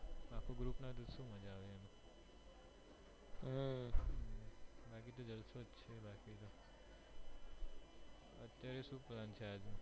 અત્યારે શૂ plan છે આજ નો